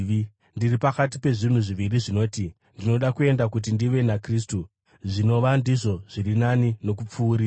Ndiri pakati pezvinhu zviviri zvinoti: Ndinoda kuenda kuti ndive naKristu, zvinova ndizvo zviri nani nokupfuuridza;